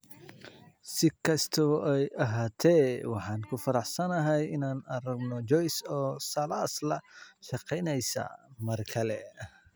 Si kastaba ha ahaatee, waan ku faraxsanahay inaan aragno Joyce oo Salas la shaqaynaysa mar kale.